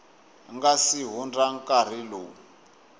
nga si hundza nkarhi lowu